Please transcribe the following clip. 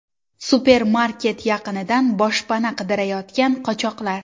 Supermarket yaqinidan boshpana qidirayotgan qochoqlar.